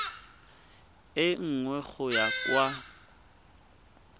e nngwe go ya kwa